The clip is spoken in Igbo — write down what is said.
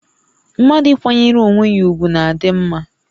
Mmadụ ịkwanyere onwé ya ùgwù na-adị mmá